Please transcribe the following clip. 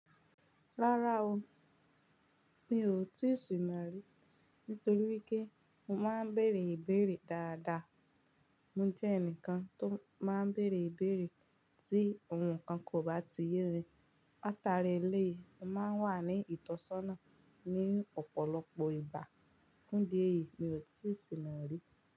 Rárá o, mi ò tíì sìnà rí, nítorí pé mo máa ń bèèrè ìbéèrè dáadáa. Mo jẹ́ ẹnìkan tó máa ń béèrè ìbéèrè tí òun ǹkan kan ò bá ti yé mi látaárí eléyìí, mo máa ń wà ní ìtọ́sọ́nà ní ọ̀pọ̀lọpọ̀ ìgbà. Fún ìdí èyìí, mi ò tíì sìnà rí.